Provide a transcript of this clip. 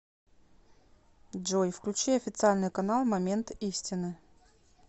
джой включи официальный канал момент истины